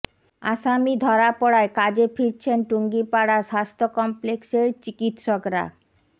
আসামি ধরা পড়ায় কাজে ফিরছেন টুঙ্গিপাড়া স্বাস্থ্য কমপ্লেক্সের চিকিৎসকরা